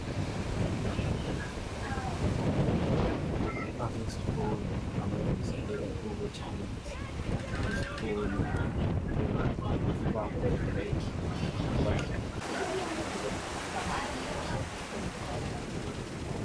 Laba ngabantwana abesikolo abalungiselela ukuthi bedle esikolo ,ukuba beye kubreak, badla ibreak